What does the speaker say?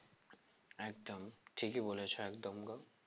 একদম ঠিকই বলেছো একদম গো